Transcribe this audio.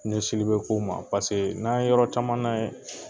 bɛ ko ma n'a ye yɔrɔ caman ye